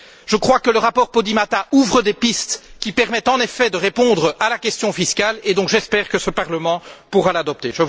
Je crois que le rapport Podimata ouvre des pistes qui permettent en effet de répondre à la question fiscale et, donc, j'espère que ce Parlement pourra l'adopter.